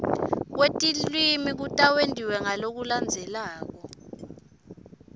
kwetilwimi kutawentiwa ngalokulandzelako